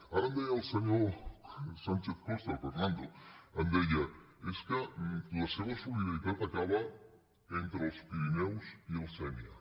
ara em deia el senyor sánchez costa el fernando és que la seva solidaritat acaba entre els pirineus i la sénia